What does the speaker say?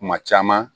Kuma caman